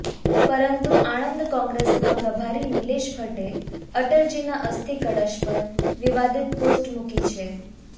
પરંતુ આણંદ કોગ્રેસના પ્રભારી નિલેશ ભટ્ટે અટલજીના અસ્થિ કળશ પર વિવાદિત પોસ્ટ મુકી છે